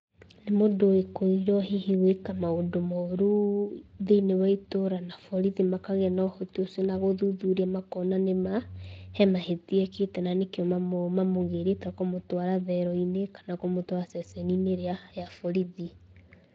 Nĩ mũndũ wĩkũĩirwo hihi gwĩka maũndũ moru thĩiniĩ wa itũra, na borithi makagĩa na ũhoti ũcio na gũthuthuria makona nĩ ma, he mahĩtia ekĩte na nĩkĩo mamũgĩrĩte kũmũtwara thero-inĩ, kana kũmũtwara ceceni-inĩ ĩrĩa ya borithi.